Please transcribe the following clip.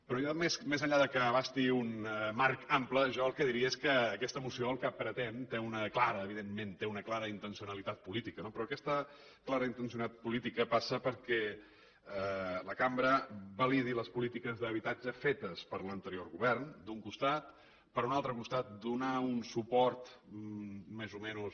però més enllà que abasti un marc ample jo el que diria és que aquesta moció el que pretén té una clara evidentment intencionalitat política però aquesta clara intencionalitat política passa perquè la cambra validi les polítiques d’habitatge fetes per l’anterior govern d’un costat per un altre costat per donar un suport més o menys